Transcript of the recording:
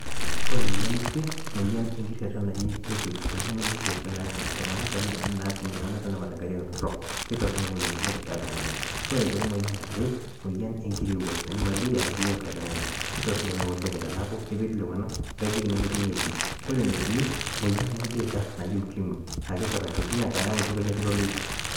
Kore emoyian ekwe naa emoyian engiterria naji taipoid emoyian engiterria natum iltung'anak tenemat enk'ariak torrok. Ketorronok Ina moyian oleng' keya iltung'anak ore aitoki emoyian eare, emoyian engirowua naji maleria nayau eng'ojang'ani ketorronok Ina oleng' teneeku keipirru iltung'anak eengajijik nemetii eneti. Kore ene uni Emoyian ebeeta naji ukemi naa ketum iltung'anak tekiloloito.